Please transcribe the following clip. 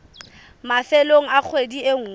mafelong a kgwedi e nngwe